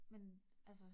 Men. Altså